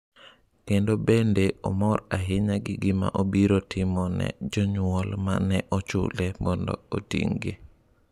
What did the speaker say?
Kendo bende omor ahinya gi gima obiro timo ne jonyuol ma ne ochule mondo oting’gi.